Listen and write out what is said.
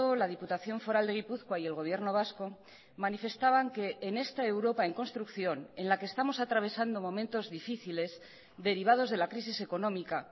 la diputación foral de gipuzkoa y el gobierno vasco manifestaban que en esta europa en construcción en la que estamos atravesando momentos difíciles derivados de la crisis económica